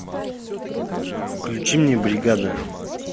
включи мне бригада